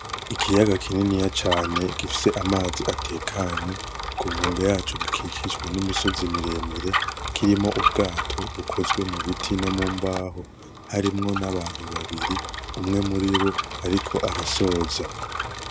Ikiyaga kininiya cane gifise amazi atekanye. Ku nkombe yaco gikikijwe n'imisozi miremire. Kirimwo ubwato bukozwe mubiti no mu mbaho. Harimwo n'abantu babiri, umwe muribo ariko arasoza.